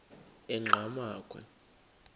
enqgamakhwe